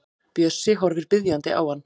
Bjössi horfir biðjandi á hann.